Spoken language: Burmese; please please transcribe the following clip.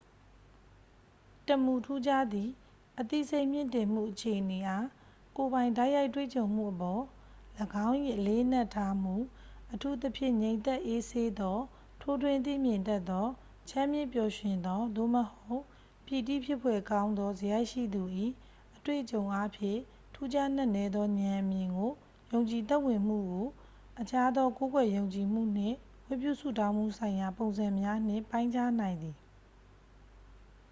တစ်မူထူးခြားသည့် အသိစိတ်မြင့်တင်မှုအခြေအနေအား ကိုယ်ပိုင်တိုက်ရိုက်တွေ့ကြုံမှုအပေါ် ၎င်း၏ အလေးအနက်ထားမှု အထူးသဖြင့် ငြိမ်သက်အေးဆေးသော ထိုးထွင်းသိမြင်တတ်သော ချမ်းမြေ့ပျော်ရွှင်သော သို့မဟုတ် ပီတိဖြစ်ဖွယ်ကောင်းသော စရိုက်ရှိသူ၏ အတွေ့အကြုံအားဖြင့် ထူးခြားနက်နဲသော ဉာဏ်အမြင်ကို ယုံကြည်သက်ဝင်မှုကို အခြားသော ကိုးကွယ်ယုံကြည်မှုနှင့် ဝတ်ပြုဆုတောင်းမှုဆိုင်ရာ ပုံစံများနှင့် ပိုင်းခြားနိုင်သည်